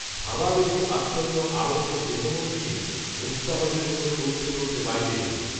ভাবাবেশে আচ্ছন্ন আড়ষ্ট দেহমন নিয়ে, মূর্ছাহতের মতো টলতে টলতে বাইরে এলেন